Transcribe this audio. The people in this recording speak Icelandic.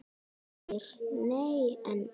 Geir Nei, en.